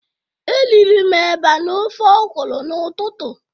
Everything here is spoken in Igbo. Eriri m eba na ofe ọkụrụ n'ututu.